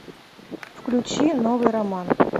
включи новый роман